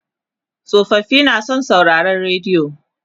tsofaffi na san sauraron rediyo